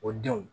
O denw